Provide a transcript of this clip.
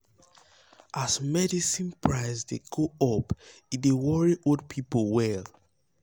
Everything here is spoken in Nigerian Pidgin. um as medicine price dey go up e dey worry old people well.